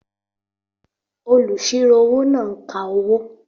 Olùsirò-owó náà ń ka owó